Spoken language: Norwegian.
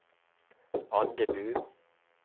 Andebu